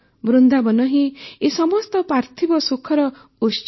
ବୃନ୍ଦାବନ ହିଁ ଏ ସମସ୍ତ ପାର୍ଥିବ ସୁଖର ଉତ୍ସ